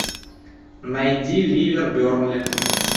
найди ливер бернли